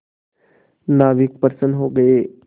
नाविक प्रसन्न हो गए